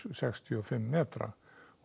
sextíu og fimm metra og